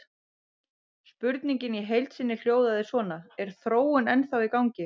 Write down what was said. Spurningin í heild sinni hljóðaði svona: Er þróunin ennþá í gangi?